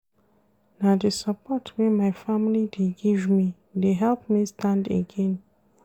Na di support wey my family dey give me dey help me stand again.